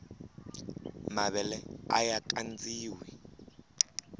mavele aya kandziwa